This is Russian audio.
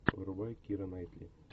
врубай кира найтли